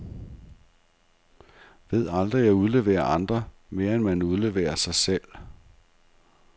Ved aldrig at udlevere andre, mere end man udleverer sig selv.